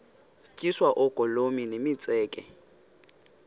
tyiswa oogolomi nemitseke